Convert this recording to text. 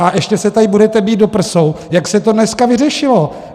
A ještě se tady budete bít do prsou, jak se to dneska vyřešilo.